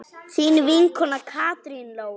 Þín vinkona Katrín Lóa.